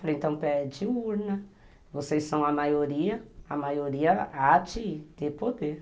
Falei, então pede urna, vocês são a maioria, a maioria há de ter poder.